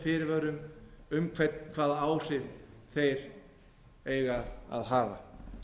fyrirvörum um hvaða áhrif þeir eigi að hafa